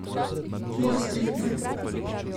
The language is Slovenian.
Bolj striktno.